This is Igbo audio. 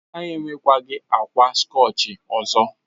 Ha enwekwaghị akwa skọchị ọzọ.